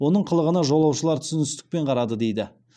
оның қылығына жолаушылар түсіністікпен қарады дейді